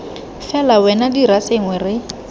fela wena dira sengwe re